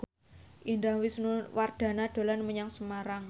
Indah Wisnuwardana dolan menyang Semarang